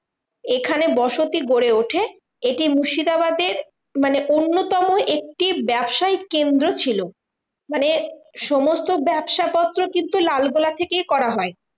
এখানে বসতি গড়ে ওঠে। এটি মুর্শিদাবাদের মানে অন্যতম একটি ব্যাবসায়িক কেন্দ্র ছিল। মানে সমস্ত ব্যাবসাপত্র কিন্তু লালগোলা থেকেই করা হয়।